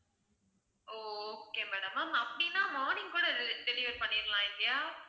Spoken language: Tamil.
ஓ okay madam ma'am அப்படின்னா morning கூட delivery பண்ணிடலாம் இல்லையா